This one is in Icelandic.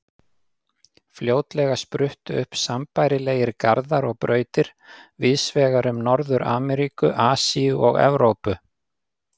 Fljótlega spruttu upp sambærilegir garðar og brautir víðs vegar um Norður-Ameríku, Asíu og Evrópu.